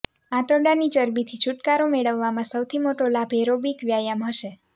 આંતરડાની ચરબીથી છુટકારો મેળવવામાં સૌથી મોટો લાભ ઍરોબિક વ્યાયામ હશે